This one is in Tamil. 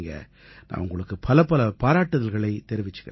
நான் உங்களுக்கு பலப்பல பாராட்டுக்களைத் தெரிவிச்சுக்கறேன்